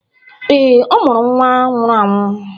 Ee, ọ mụrụ nwa nwụrụ anwụ.